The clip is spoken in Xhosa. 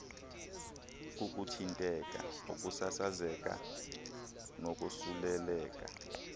kukuthintela ukusasazeka nokosuleleka